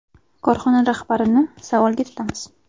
Korxona rahbarini savolga tutamiz.